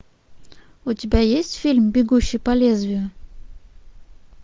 у тебя есть фильм бегущий по лезвию